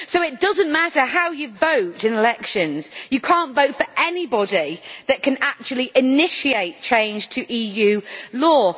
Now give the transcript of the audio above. So it does not matter how you vote in elections, you cannot vote for anybody that can actually initiate change to EU law.